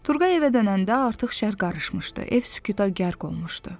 Turğay evə dönəndə artıq şəhər qarışmışdı, ev sükuta qərq olmuşdu.